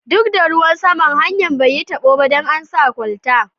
Duk da ruwan saman, hanya'n bai yi tabo ba dan an sa kwalta.